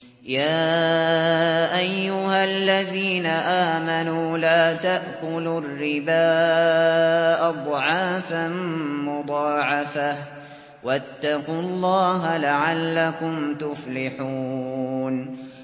يَا أَيُّهَا الَّذِينَ آمَنُوا لَا تَأْكُلُوا الرِّبَا أَضْعَافًا مُّضَاعَفَةً ۖ وَاتَّقُوا اللَّهَ لَعَلَّكُمْ تُفْلِحُونَ